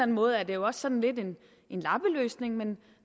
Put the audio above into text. måde er det også sådan lidt en lappeløsning men